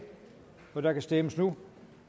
og der kan stemmes nu